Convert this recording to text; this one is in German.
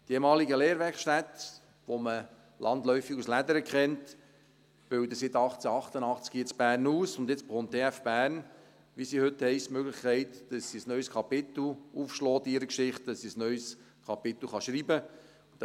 Die ehemalige Lehrwerkstätte, die man landläufig als «Lädere» kennt, bildet seit 1888 hier in Bern aus, und jetzt bekommt die TF Bern, wie sie heute heisst, die Möglichkeit, dass sie ein neues Kapitel aufschlagen kann in ihrer Geschichte, dass sie ein neues Kapitel schreiben kann.